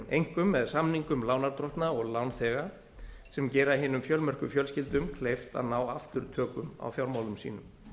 einkum með samningum lánardrottna og lánþega sem gera hinum fjölmörgu fjölskyldum kleift að ná aftur tökum á fjármálum sínum